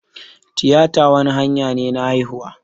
Tiyita wani hanya ne na haihuwa